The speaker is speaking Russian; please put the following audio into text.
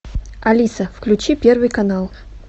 алиса включи первый канал